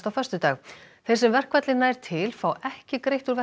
á föstudag þeir sem verkfallið nær til fá ekki greitt úr